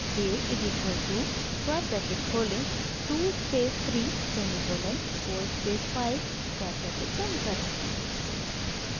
a is equal to square bracket खोलें 2 space 3 semicolon 4 space 5 square bracket बंद करें